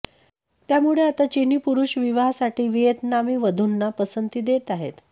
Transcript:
त्यामुळे आता चिनी पुरुष विवाहासाठी व्हिएतनामी वधूंना पसंती देत आहेत